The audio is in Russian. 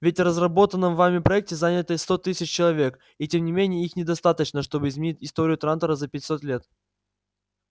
ведь в разработанном вами проекте занято сто тысяч человек и тем не менее их недостаточно чтобы изменить историю трантора за пятьсот лет